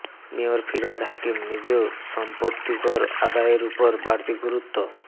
mayor Firhad Hakim নিজেও সম্পত্তিকর আদায়ের উপর বাড়তি গুরুত্ব